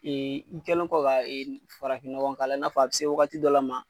i kɛlen kɔ ka farafinnɔgɔn k'a la, i n'a fɔ a bɛ se wagati dɔ la ma.